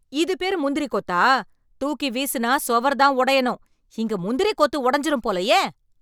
இது பேர் முந்திரி கொத்தா, தூக்கி வீசினா சுவர் தான் உடையணும், இங்க முந்திரி கொத்து உடைஞ்சுரும் போலயே.